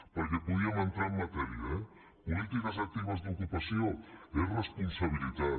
perquè podíem entrar en matèria eh polítiques actives d’ocupació és responsabilitat